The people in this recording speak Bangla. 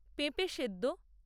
পেঁপে সেদ্দ